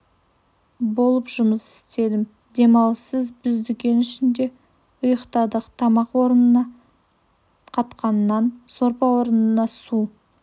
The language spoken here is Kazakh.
болып жұмыс істедім демалыссыз біз дүкен ішінде ұйықтадық тамақ орнына қатқан нан сорпа орнына су